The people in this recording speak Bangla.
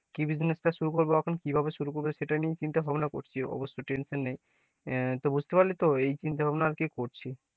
কি business টা শুরু করব এখন এবং কিভাবে শুরু করব সেটা নিয়ে চিন্তাভাবনা করছি অবশ্য tension নেই বুঝতে পারলে তো? এই চিন্তা ভাবনা আরকি করছি,